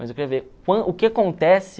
Mas eu queria ver o que acontece...